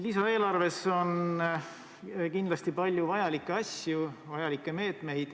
Lisaeelarves on kindlasti palju vajalikke asju, vajalikke meetmeid.